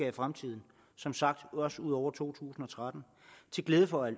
i fremtiden som sagt også ud over to tusind og tretten til glæde for